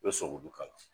I bɛ sɔli kala